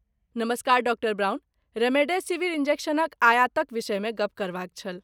नमस्कार, डॉ Brown remdesivir इन्जेक्शनक आयातक विषयमे गप्प करबाक छल।